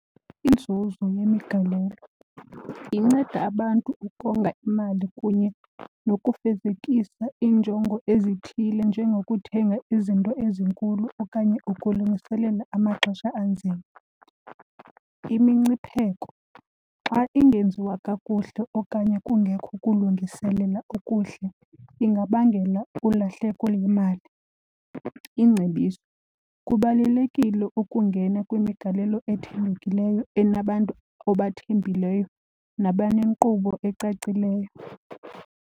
Inzuzo yemigalelo, inceda abantu ukonga imali kunye nokufezekisa iinjongo ezithile njengokuthenga izinto ezinkulu okanye ukulungiselela amaxesha anzima. Imincipheko, xa ingenziwa kakuhle okanye kungekho kulungiselela okuhle ingabangela ulahleko lwemali. Ingcebiso, kubalulekile ukungena kwimigalelo ethembekileyo enabantu obathembileyo nabanenkqubo ecacileyo.